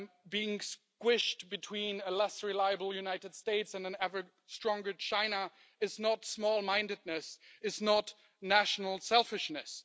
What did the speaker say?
being squished between a less reliable United States and an ever stronger China, is not small mindedness, is not national selfishness.